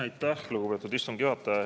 Aitäh, lugupeetud istungi juhataja!